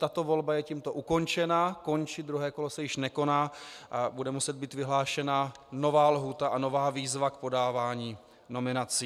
Tato volba je tímto ukončena, končí, druhé kolo se již nekoná a bude muset být vyhlášena nová lhůta a nová výzva k podávání nominací.